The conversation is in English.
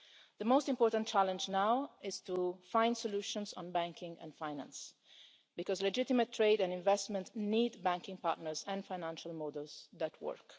The most important challenge now is to find solutions on banking and finance, because legitimate trade and investment need banking partners and financial models that work.